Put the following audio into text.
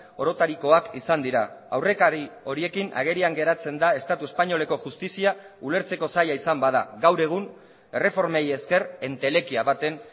orotarikoak izan dira aurrekari horiekin agerian geratzen da estatu espainoleko justizia ulertzeko zaila izan bada gaur egun erreformei esker entelekia baten